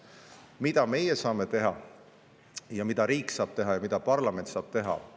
Mida saame meie teha, mida saab riik teha ja mida saab parlament teha?